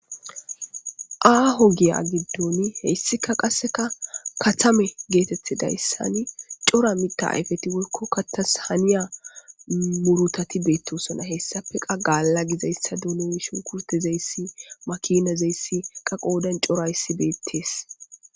Aho giya giddon hesikka qasekka katamme getetidayssan cora miththa ayfeti woyikko kaththas haniya murutati betosona hesafe qas gaala giza doonoy shunkurttoy makinay qodan corayissa bettes